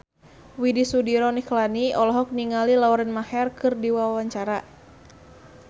Widy Soediro Nichlany olohok ningali Lauren Maher keur diwawancara